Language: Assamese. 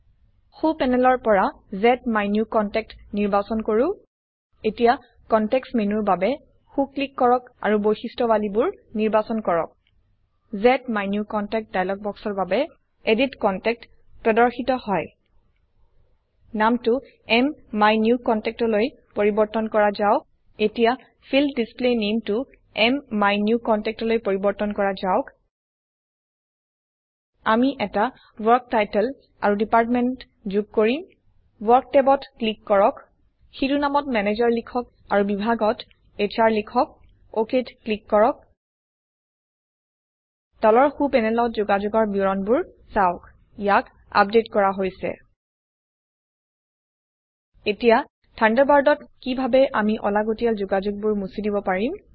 সো প্যানেলৰ পৰা জ্মাইনিউকনটেক্ট নিৰ্বাচন কৰো এতিয়া কনটেক্সট মেনুৰ বাবে সো ক্লিক কৰক আৰু বৈশিষ্ট্যাৱলী বোৰ নিৰ্বাচন কৰক জ্মাইনিউকনটেক্ট ডায়লগ বক্সৰ বাবে সম্পাদনা যোগাযোগ এডিট কণ্টেক্ট প্ৰদৰ্শিত হয় নাম টো MMyNewContactলৈ পৰিবৰ্তন কৰা যাওক এতিয়া ফিল্ড ডিছপ্লে Nameটো MMyNewContactলৈ পৰিবৰ্তন কৰা যাওক আমি এটি ওয়াৰ্ক শিৰোনাম আৰু বিভাগও যোগ কৰিম ওয়াৰ্ক ট্যাবত ক্লিক কৰক শিৰোনামত ম্যানেজাৰ লিখক আৰু বিভাগত হ্ৰ লিখক OKত ক্লিক কৰক তলৰ সো পেনেলত যোগাযোগৰ বিৱৰণবোৰ চাওক ইয়াক আপডেট কৰা হৈছে এতিয়া থান্ডাৰবাৰ্ডত কিভাবে আমি অলাগতিয়াল যোগাযোগ বোৰ মুছি দিব পাৰিম